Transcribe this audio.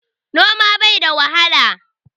Noma bai da wahala.